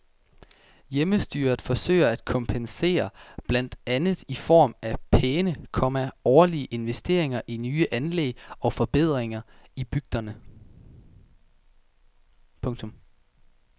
Hjemmestyret forsøger at kompensere blandt andet i form af pæne, komma årlige investeringer i nye anlæg og forbedringer i bygderne. punktum